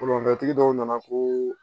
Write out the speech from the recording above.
tigi dɔw nana koo